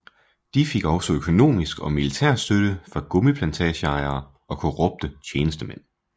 De fik også økonomisk og militær støtte fra gummiplantageejere og korrupte tjenestemænd